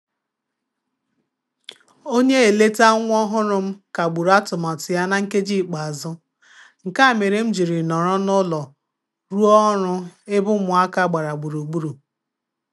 Onye eleta nwa ọhụrụ m kagburu atụmatụ ya na nkeji ikpeazụ, nke a mere m jịrị nọrọ n'ulo ruo ọrụ ebe ụmụ aka gbara gburugburu.